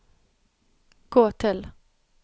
gå til